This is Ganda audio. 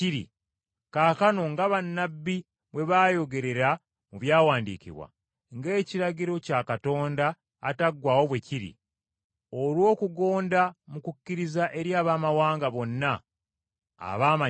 kaakano nga bannabbi bwe baayogerera mu byawandiikibwa, ng’ekiragiro kya Katonda ataggwaawo bwe kiri, olw’okugonda mu kukkiriza eri Abaamawanga bonna abaamanyibwa,